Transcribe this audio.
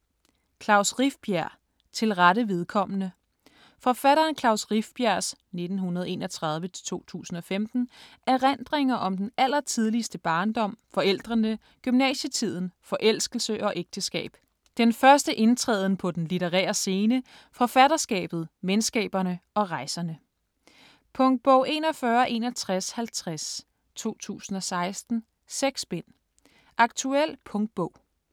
Rifbjerg, Klaus: Til rette vedkommende Forfatteren Klaus Rifbjergs (1931-2015) erindringer om den allertidligste barndom, forældrene, gymnasietiden, forelskelse og ægteskab, den første indtræden på den litterære scene, forfatterskabet, venskaberne og rejserne. Punktbog 416150 2016. 6 bind. Aktuel punktbog.